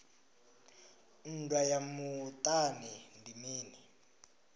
nndwa ya muṱani ndi mini